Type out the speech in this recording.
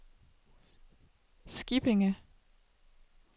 Skippinge